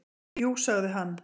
"""Jú, sagði hann."""